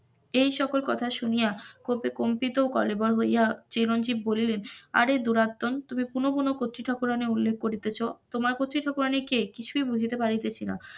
এই সকল কথা শুনিয়া ক্ষোভে কম্পিত কলেবর হইয়া চিরঞ্জীব বলিলেন আরে দুরাতন তুমি কোন কোন কত্রী ঠাকুরানির কথা উল্লেখ করিতেছ তোমার কত্রি ঠাকুরানি কে কিছুই বুঝিতে পারতেছি না,